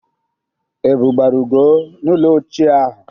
Ebụ gbara Ugo n'ụlọ ochie ahụ.